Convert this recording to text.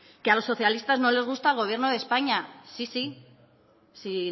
que a los socialistas no les gusta el gobierno de españa sí sí si